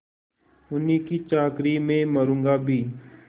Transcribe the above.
उन्हीं की चाकरी में मरुँगा भी